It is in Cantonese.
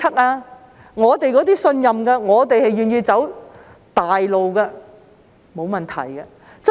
而我們這些信任政府的人，願意走大路的，則沒有問題。